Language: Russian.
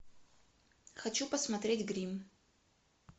хочу посмотреть гримм